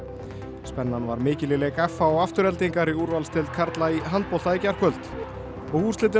spennan var mikil í leik f h og Aftureldingar í úrvalsdeild karla í handbolta í gærkvöld og úrslitin á